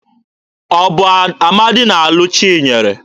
Ọ bụ Amadị na-alụ Chinyere?